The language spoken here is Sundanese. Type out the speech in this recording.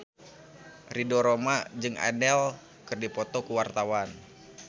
Ridho Roma jeung Adele keur dipoto ku wartawan